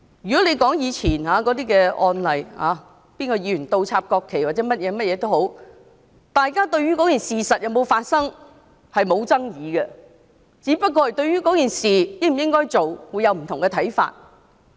回顧以往的案例，例如某議員倒插國旗或其他行為，大家對事情有否發生並無爭議，只是對應否那樣做有不同看法。